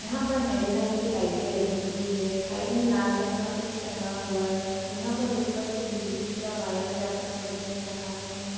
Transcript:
यहाँ पर हरे रंग की लाइटें लगी हुई है। साइड में लाल रंग का कुछ टंगा हुआ है। यहाँ पर ऊपर से बिजली का वायर जाता हुआ दिख रहा है।